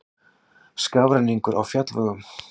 Skafrenningur á fjallvegum